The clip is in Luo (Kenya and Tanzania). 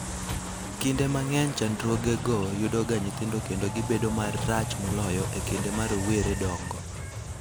Kinde mang'eny chandruogego yudoga nyithindo kendo gibedo marach moloyo e kinde ma rowere dongo.